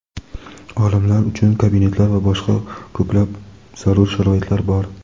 olimlar uchun kabinetlar va boshqa ko‘plab zarur sharoitlar bor.